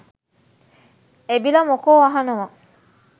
එබිල මොකෝ අහනවා